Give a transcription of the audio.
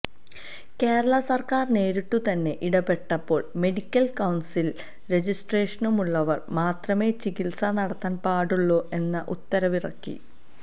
കേരള സർക്കാർ നേരിട്ടു തന്നെ ഇടപെട്ടപ്പോൾ മെഡിക്കൽ കൌൺസിലിൽ രജിസ്ട്രേഷനുമുള്ളവർ മാത്രമേ ചികിത്സ നടത്താൻ പാടുള്ളൂ എന്ന ഉത്തരവിറക്കി